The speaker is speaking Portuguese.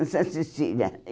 Em Santa Cecília.